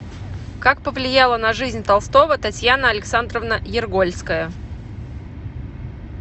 как повлияла на жизнь толстого татьяна александровна ергольская